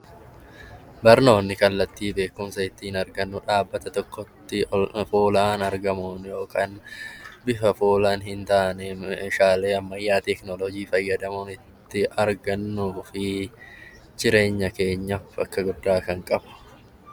Barnoonni kallattii ittiin beekumsa argannu kan dhaabbata tokkotti fuulaan argamuun yookaan bifa fuulaan hin taaneen meeshaalee ammayyaa teekinooloojii fayyadamuun kan itti argannuu fi jireenya keenya bakka guddaa qaqqabnudha.